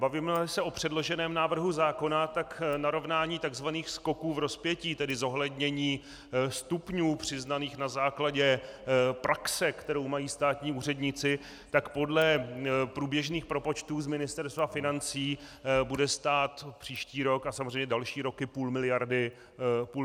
Bavíme-li se o předloženém návrhu zákona, tak narovnání tzv. skoků v rozpětí, tedy zohlednění stupňů přiznaných na základě praxe, kterou mají státní úředníci, tak podle průběžných propočtů z Ministerstva financí bude stát příští rok a samozřejmě další roky půl miliardy korun.